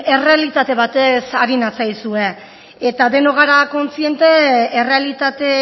errealitate bat batez ari natzaizue eta denok gara kontziente errealitate